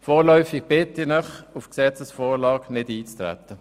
Vorläufig bitte ich Sie, auf die Gesetzesvorlage nicht einzutreten.